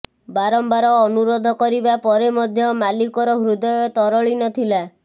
ବାରମ୍ବାର ଅନୁରୋଧ କରିବା ପରେ ମଧ୍ୟ ମାଲିକର ହୃଦୟ ତରଳି ନଥିଲା